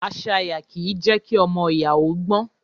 Àṣàyá kì í je kí ọmọ oyà ó gbon.